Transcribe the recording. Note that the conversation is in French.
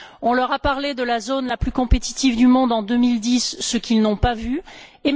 on leur a parlé de la zone la plus compétitive du monde en 2010, ce qu'ils n'ont pas vu se concrétiser.